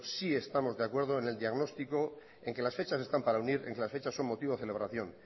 sí estamos de acuerdo en el diagnóstico en que las fechas están para unir en que las fechas son motivo de celebración